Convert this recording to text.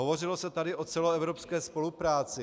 Hovořilo se tady o celoevropské spolupráci.